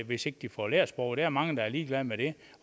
hvis ikke de får lært sproget der er mange der er ligeglade med det